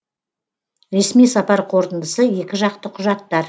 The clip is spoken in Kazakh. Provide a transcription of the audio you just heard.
ресми сапар қорытындысы екіжақты құжаттар